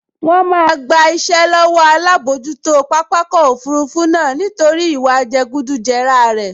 Wọ́n máa gba iṣẹ́ lọ́wọ́ alábojútó pápákọ̀ òfurufú náà nítorí ìwà jẹgúdújẹrá rẹ̀